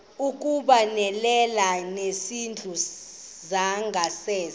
ukubonelela ngezindlu zangasese